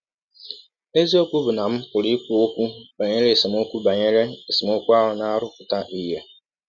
Eziọkwụ bụ́ na m pụrụ ikwu ọkwụ banyere esemọkwụ banyere esemọkwụ ahụ na - arụpụta ihe.